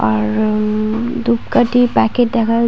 আর হু উ-উ ধূপকাঠির প্যাকেট দেখা যা--